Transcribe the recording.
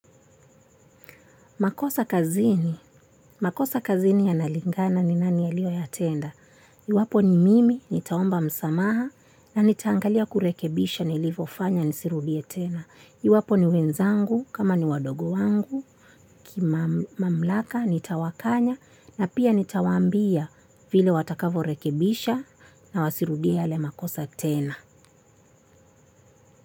Makosa kazini, makosa kazini yanalingana ni nani aliyoyatenda? Iwapo ni mimi, nitaomba msamaha na nitaangalia kurekebisha nilivofanya nisirudie tena. Iwapo ni wenzangu kama ni wadogo wangu, kimamamlaka nitawakanya na pia nitawaambia vile watakavyorekebisha na wasirudie yale makosa tena.